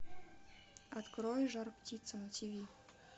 открой жар птица на тв